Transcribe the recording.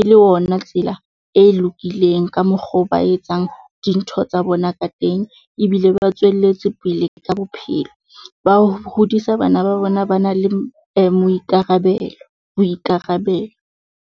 e le ona tsela e lokileng ka mokgo ba etsang dintho tsa bona ka teng ebile ba tswelletse pele ka bophelo. Ba hodisa bana ba bona, ba na le moikarabelo, boikarabelo.